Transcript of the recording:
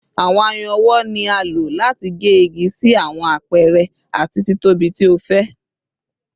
Awọn ayùn ọwọ ni a lo lati ge igi si awọn apẹrẹ ati titobi ti o fẹ